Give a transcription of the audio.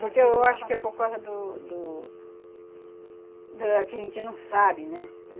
Porque eu acho que é por causa do... Do... Da que a gente não sabe, né?